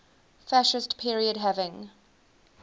fascist period having